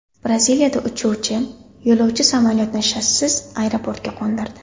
Braziliyada uchuvchi yo‘lovchi samolyotni shassisiz aeroportga qo‘ndirdi .